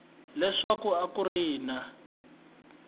leswaku a ku ri na